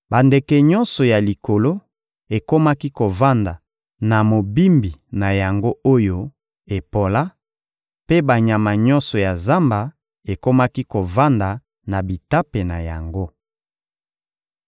Bandeke nyonso ya likolo ekomaki kovanda na mobimbi na yango oyo epola, mpe banyama nyonso ya zamba ekomaki kovanda na bitape na yango.